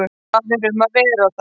Hvað er um að vera þar?